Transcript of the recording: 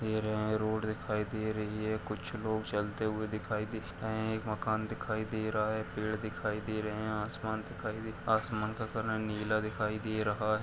air यहाँ road दिखाई दे रही है कुछ लोग चलते हुए दिखाई दिख रहे हैं एक मकान दिखाई दे रहा है पेड़ दिखाई दे रहे हैं आसमान दिखाई दे आसमान का कलर नीला दिखाई दे रहा --